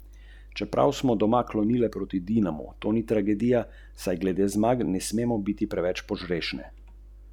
Kos!